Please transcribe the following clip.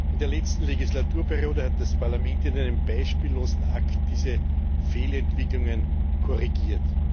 In der letzten Legislaturperiode hat das Parlament in einem beispiellosen Akt diese Fehlentwicklungen korrigiert.